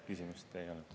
Küsimust ei olnud.